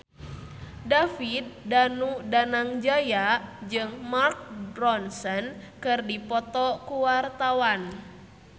David Danu Danangjaya jeung Mark Ronson keur dipoto ku wartawan